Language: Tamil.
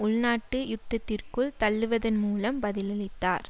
உள்நாட்டு யுத்தத்திற்குள் தள்ளுவதன் மூலம் பதிலளித்தார்